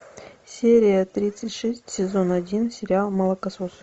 серия тридцать шесть сезон один сериал молокососы